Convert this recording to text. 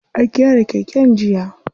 An gyara keken jiya.